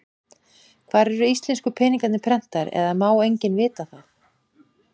Hvar eru íslensku peningarnir prentaðir, eða má enginn vita það?